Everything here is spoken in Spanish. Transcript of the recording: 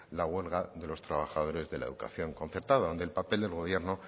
la huelga de los trabajadores de la educación concertada donde el papel del gobierno